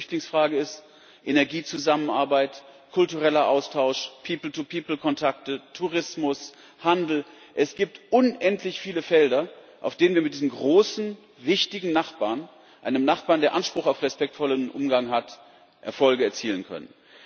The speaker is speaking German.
Ob das die Flüchtlingsfrage ist, Energiezusammenarbeit, kultureller Austausch, people to people Kontakte, Tourismus, Handel es gibt unendlich viele Felder, auf denen wir mit diesem großen, wichtigen Nachbarn, einem Nachbarn, der Anspruch auf respektvollen Umgang hat, Erfolge erzielen können.